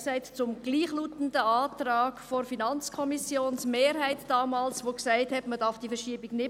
Nein zum gleichlautenden Antrag der Mehrheit der FiKo, und sie sprachen sich gegen die Verschiebung aus.